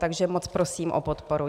Takže moc prosím o podporu.